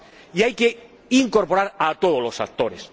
Y hay que incorporar a todos los actores.